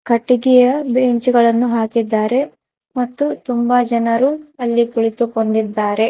ಕಟ್ಟಿಗೆಯ ಬೆಂಚು ಗಳನ್ನು ಹಾಕಿದಾರೆ ಮತ್ತು ತುಂಬಾ ಜನರು ಅಲ್ಲಿ ಕುಳಿತುಕೊಂಡಿದ್ದರೆ.